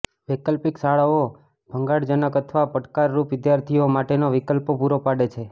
વૈકલ્પિક શાળાઓ ભંગાણજનક અથવા પડકારરૂપ વિદ્યાર્થીઓ માટેના વિકલ્પો પૂરા પાડે છે